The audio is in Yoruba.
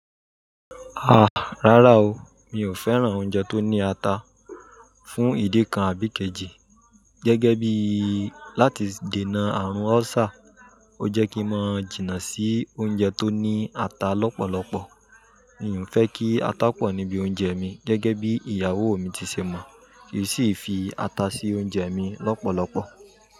Ha! Rárá o, mi ò fẹ́ràn oúnjẹ tó ní ata. Fún ìdí kan àbí kejì, gẹ́gẹ́ bí i láti dènà àrùn ulcer, ó jẹ́ kí ń máa jìnnà sí oúnjẹ tó ní ata lọ́pọ̀lọpọ̀. Mi ò n fẹ́ kí ata pọ̀ níbi oúnjẹ mi gẹ́gẹ́ bí ìyàwó mi ti ṣe mọ̀, kí i sì fi ata sí oúnjẹ mi lọ́pọ̀lọpọ̀